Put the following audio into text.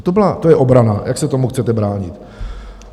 To je obrana, jak se tomu chcete bránit.